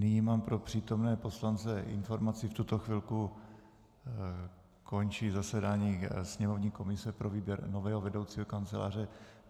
Nyní mám pro přítomné poslance informaci: V tuto chvilku končí zasedání sněmovní komise pro výběr nového vedoucího kanceláře.